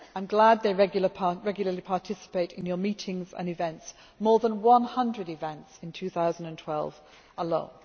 I am glad they regularly participate in your meetings and events more than 100 events in 2012 alone.